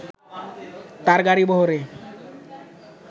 তার গাড়িবহরে